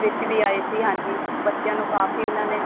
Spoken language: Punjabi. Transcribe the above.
ਵਿੱਚ ਵੀ ਆਏ ਸੀ ਹਾਂਜੀ ਬੱਚਿਆਂ ਨੂੰ ਕਾਫੀ ਉਹਨਾ ਨੇ